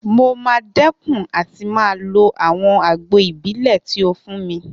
Mo máa dẹ́kun àti máa lo àwọn àgbo ìbílẹ̀ tí ó fún mi